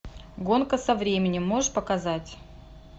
гонка со временем можешь показать